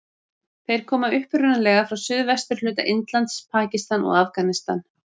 Þeir koma upprunalega frá suðvesturhluta Indlands, Pakistan og Afganistan.